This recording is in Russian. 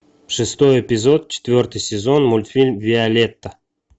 шестой эпизод четвертый сезон мультфильм виолетта